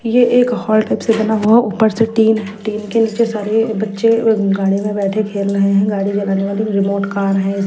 यह एक hall type से बना हुआ ऊपर से टीन टीन के नीचे सारे बच्चे गाड़ी में बैठे खेल रहे हैं गाड़ी जलाने वाली रिमोंट कार है।